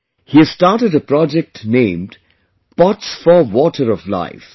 He has started a project named 'Pots for water of life'